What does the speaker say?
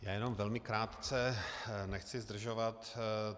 Já jenom velmi krátce, nechci zdržovat.